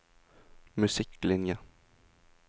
musikklinjen